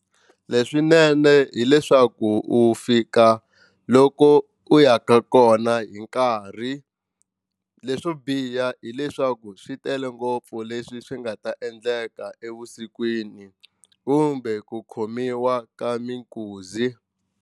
Leswinene hileswaku u fika loko u ya ka kona hi nkarhi leswo biha hileswaku swi tele ngopfu leswi swi nga ta endleka evusikwini kumbe ku khomiwa ka minkuzi.